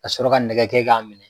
Ka sɔrɔ ka nɛgɛ k'a minɛ.